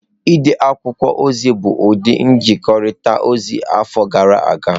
Ide akwụkwọ ozi bụ ụdị nzikọrịta ozi afọ gara aga.